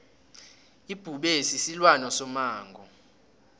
ibhubezi silwane somango